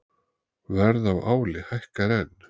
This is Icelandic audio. Verð á áli hækkar enn